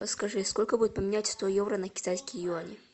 подскажи сколько будет поменять сто евро на китайские юани